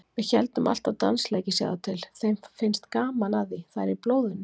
Við héldum alltaf dansleiki, sjáðu til, þeim finnst gaman að því, það er í blóðinu.